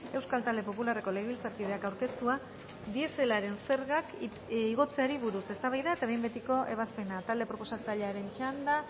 euskal talde popularreko legebiltzarkideak aurkeztua dieselaren zergak igotzeari buruz eztabaida eta behin betiko ebazpena talde proposatzailearen txanda